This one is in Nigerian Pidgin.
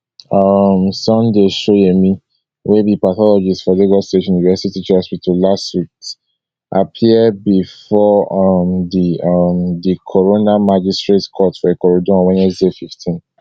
um sunday shoyemi wey be pathologist for lagos state university teaching hospital lasuth appear bifor um di um di coroner magistrate court for ikorodu on wednesday fifteen